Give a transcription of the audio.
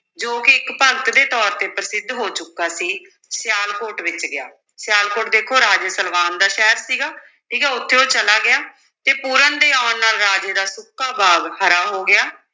ਜੋ ਕਿ ਇਕ ਭਗਤ ਦੇ ਤੌਰ ਤੇ ਪ੍ਰਸਿੱਧ ਹੋ ਚੁੱਕਾ ਸੀ, ਸਿਆਲਕੋਟ ਵਿੱਚ ਗਿਆ, ਸਿਆਲਕੋਟ ਦੇਖੋ ਰਾਜੇ ਸਲਵਾਨ ਦਾ ਸ਼ਹਿਰ ਸੀਗਾ, ਠੀਕ ਹੈ ਉੱਥੇ ਉਹ ਚਲਾ ਗਿਆ, ਤੇ ਪੂਰਨ ਦੇ ਆਉਣ ਨਾਲ ਰਾਜੇ ਦਾ ਸੁੱਕਾ ਬਾਗ ਹਰਾ ਹੋ ਗਿਆ।